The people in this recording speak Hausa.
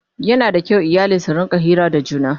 Yana da kyau iyali su rinƙa Hira da juna